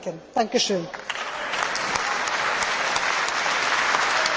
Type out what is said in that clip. Frau Vizepräsidentin, liebe Kolleginnen und Kollegen!